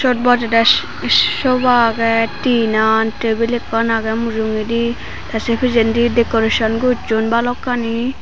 bojede sih sih soba aage tinan tebil ekkan age mujugedi te se pijendi decoreson gusson balokkani.